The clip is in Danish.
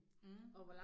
Mh